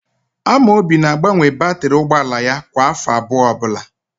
Amobi na-agbanwe batịrị ụgbọala ya kwa áfọ abụọ ọbụla.